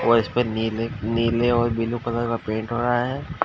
और इसपर नीले नीले और बिलु कलर का पेंट हो रहा है।